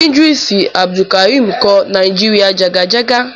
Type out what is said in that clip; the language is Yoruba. Ídírísù Àbùdùkàrímì kọ Nàíjíríà jàgàjágá.